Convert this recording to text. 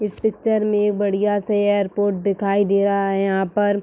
इस पिक्चर में एक बढ़िया से एयरपोर्ट दिखाई दे रहा है। यहां पर --